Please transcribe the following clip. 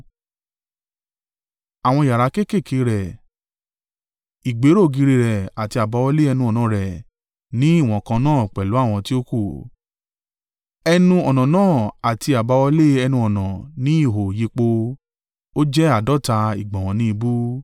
Àwọn yàrá kéékèèké rẹ̀, ìgbéró ògiri rẹ̀ àti àbáwọlé ẹnu-ọ̀nà rẹ̀ ní ìwọ̀n kan náà pẹ̀lú àwọn tí ó kù. Ẹnu-ọ̀nà náà àti àbáwọlé ẹnu-ọ̀nà ni ihò yí po. Ó jẹ́ àádọ́ta ìgbọ̀nwọ́ ni ìbú.